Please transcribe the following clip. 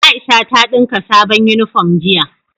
Aisha ta dinka sabon uniform jiya